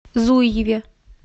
зуеве